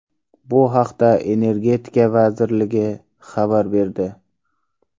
Bu haqda Energetika vazirligi xabar berdi .